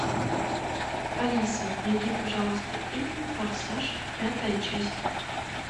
алиса найди пожалуйста фильм форсаж пятая часть